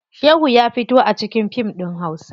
Shehu ya fito a cikin fim ɗin hausa.